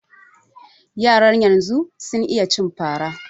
Yaran yanzu sun iya cin fara